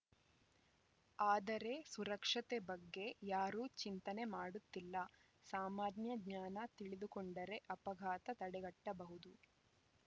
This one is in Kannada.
ಆದರೆ ಸುರಕ್ಷತೆ ಬಗ್ಗೆ ಯಾರೂ ಚಿಂತನೆ ಮಾಡುತ್ತಿಲ್ಲ ಸಾಮಾನ್ಯ ಜ್ಞಾನ ತಿಳಿದುಕೊಂಡರೆ ಅಪಘಾತ ತಡೆಗಟ್ಟಬಹುದು